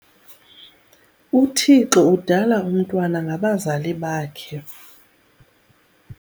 UThixo udala umntwana ngabazali bakhe.